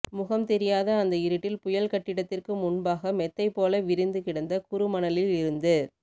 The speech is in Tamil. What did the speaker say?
முகம் தெரியாத அந்த இருட்டில் புயல் கட்டிடத்திற்கு முன்பாக மெத்தை போல விரிந்து கிடந்த குறு மணலில் இருந்து